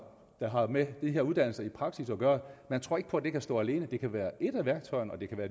der har med de her uddannelser i praksis at gøre man tror ikke på at det kan stå alene det kan være et af værktøjerne og det kan være